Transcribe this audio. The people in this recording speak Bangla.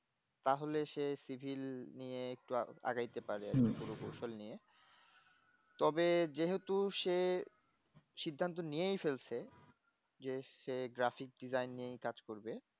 তাহলে সে সিভিল নিয়ে একটু আগাইতে পারে যন্ত্রকৌশল নিয়ে তবে যেহেতু সে সিদ্ধান্ত নিয়েই ফেলছে যে সে graphic design নিয়েই কাজ করবে